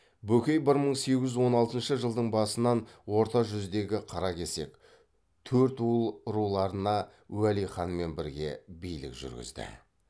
бөкей бір мың сегіз жүз он алтыншы жылдың басынан орта жүздегі қаракесек төртуыл руларына уәли ханмен бірге билік жүргізді